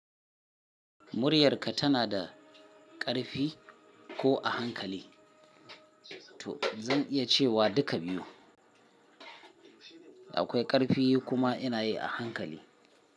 Muryarka tana da ƙarfi ko a hankali? To zan iya cewa duka biyu. Akwai ƙarfi kuma ina yi a hankali.